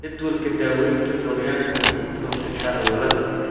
Jadwalka daawaynta gooryaanka waxay ka hortagtaa cudurada.